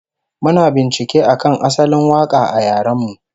Muna bincike akan asalin waka a yaren mu